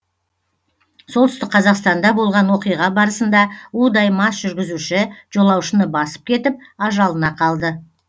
солтүстік қазақстанда болған оқиға барысында удай мас жүргізуші жолаушыны басып кетіп ажалына қалды